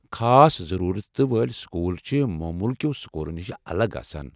خاص ضروٗرتہٕ وٲلۍ سکول چھِ مومولكیو٘ سکولو نشہِ الگ آسان۔